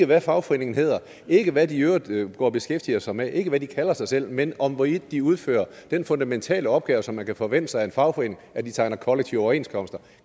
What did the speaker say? hvad fagforeningen hedder ikke hvad de i øvrigt går og beskæftiger sig med ikke hvad de kalder sig selv men om hvorvidt de udfører den fundamentale opgave som man kan forvente sig af en fagforening at de tegner kollektive overenskomster